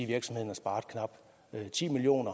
virksomheden har sparet knap ti million